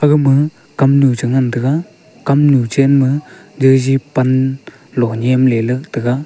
gama kamnu chingan taiga kamnu chenma jaji pan lo nyem leley taiga.